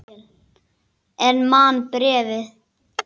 En man bréfin.